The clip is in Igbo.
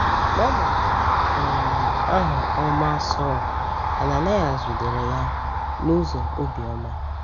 N’agbanyeghị um aha ọma Saulu, Ananias jidere ya n’ụzọ obiọma.